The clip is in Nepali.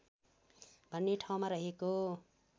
भन्ने ठाउँमा रहेको